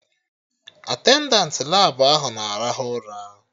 Atendantị Labụ ahụ na-arahụ ụra